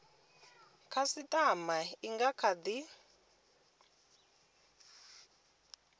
khasitama i nga kha di